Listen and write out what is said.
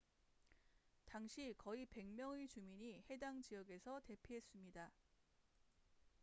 당시 거의 100명의 주민이 해당 지역에서 대피했습니다